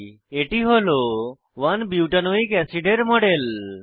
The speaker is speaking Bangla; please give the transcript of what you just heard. এটি হল 1 বুটানোইক এসিআইডি 1 বিউটানোয়িক অ্যাসিড এর মডেল